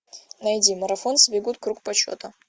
найди марафонцы бегут круг почета